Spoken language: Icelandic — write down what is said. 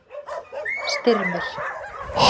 Styrmir